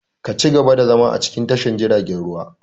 Ka ci gaba da zama a cikin tashar jiaragen ruwan!